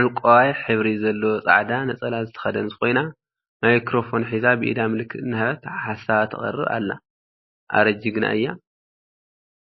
ዕንቋይ ሕብሪ ዘለዎ ፃዕዳ ነፀላ ዝተከደነት ኮይና፤ ማይክሮፎን ሒዛ ብኢዳ ምልክት እናሃበት ሓሳባ ተቅርብ አላ፡፡ አረ! ጅግና እያ፡፡